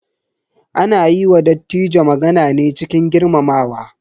Ana yi wa Dattijo magana ne cikin girmamawa.